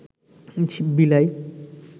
বিলাই